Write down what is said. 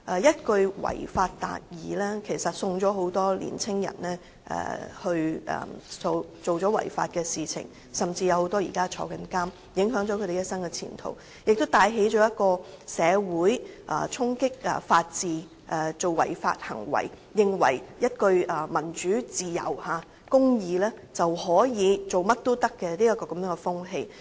一句"違法達義"，令很多年青人作出違法行為，甚至被監禁，影響了一生前途，亦帶起了社會衝擊法治，以為為了民主自由和公義，便甚麼違法事情也可以做的風氣。